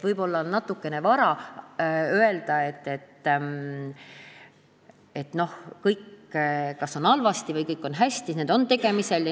Võib-olla on natukene vara öelda, kas kõik on halvasti või kõik on hästi, sest need asjad on tegemisel.